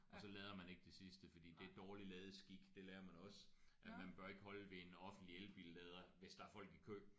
Og så lader man ikke det sidste fordi det er dårlig ladeskik det lærer man også at man bør ikke holde ved en offentlig elbillader hvis der er folk i kø